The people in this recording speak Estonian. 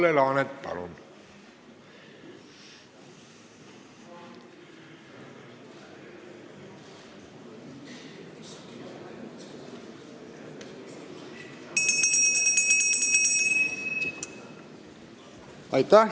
Kalle Laanet, palun!